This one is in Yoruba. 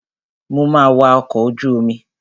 Mo ma wa ọkọ̀ ojú omi.